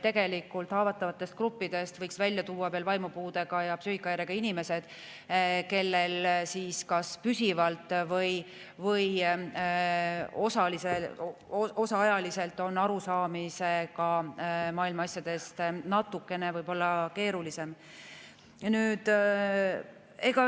Haavatavatest gruppidest võiks välja tuua veel vaimupuudega ja psüühikahäirega inimesed, kellel kas püsivalt või osaajaliselt on maailma asjadest aru saada võib-olla natukene keerulisem.